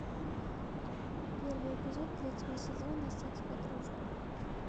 первый эпизод третьего сезона секс по дружбе